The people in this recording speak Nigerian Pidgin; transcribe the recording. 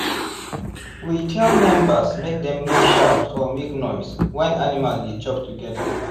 we tell members make dem no shout or make noise when animal dey chop together.